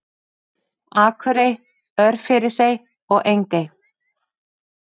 Akurey, Örfirisey og Engey.